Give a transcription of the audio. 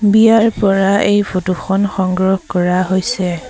বিয়াৰ পৰা এই ফটো খন সংগ্ৰহ কৰা হৈছে।